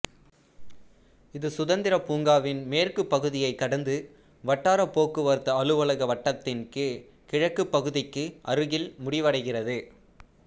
இது சுதந்திர பூங்காவின் மேற்குப் பகுதியைக் கடந்து வட்டார போக்குவரத்து அலுவலக வட்டத்தின் கிழக்குப் பகுதிக்கு அருகில் முடிவடைகிறது